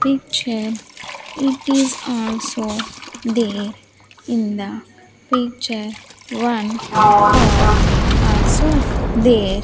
picture it is also there in the picture one cor also there.